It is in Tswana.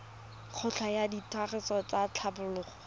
kelotlhoko ya tiragatso le tlhatlhobo